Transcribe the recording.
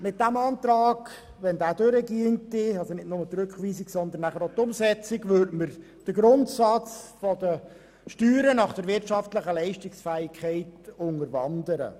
Mit der Annahme dieses Antrags würden wir den Grundsatz der Besteuerung nach der wirtschaftlichen Leistungsfähigkeit unterwandern.